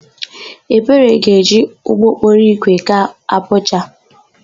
Ebere ga-eji ụgbọokporoigwe gaa Abụja.